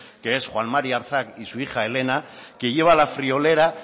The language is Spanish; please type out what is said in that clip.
que es juan mari arzak y su hija elena que lleva la friolera